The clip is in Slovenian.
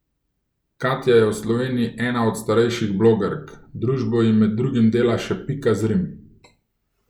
Katja je v Sloveniji ena od starejših blogerk, družbo ji med drugim dela še Pika Zrim.